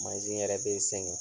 Mansi yɛrɛ be sɛŋɛn